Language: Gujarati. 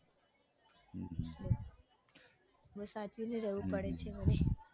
બઉ સાચવીને રેવું પડે છે મને.